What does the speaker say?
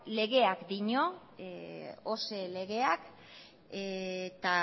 ose legeak dio eta